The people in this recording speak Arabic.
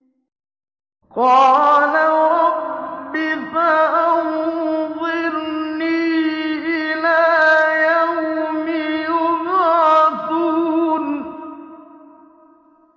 قَالَ رَبِّ فَأَنظِرْنِي إِلَىٰ يَوْمِ يُبْعَثُونَ